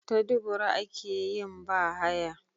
Ta dubura akeyin ba haya